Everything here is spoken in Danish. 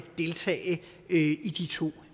deltage i de to